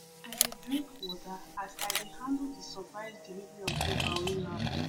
i dey dey drink water as i dey handle the surprise delivery of paper wey land